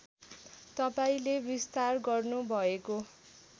तपाईँले विस्तार गर्नुभएको